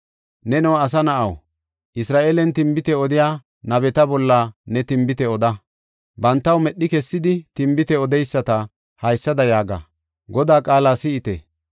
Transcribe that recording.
“Neno asa na7aw, Isra7eelen tinbite odiya nabeta bolla ne tinbite oda. Bantaw medhi kessidi tinbite odeyisata haysada yaaga; Godaa qaala si7ite.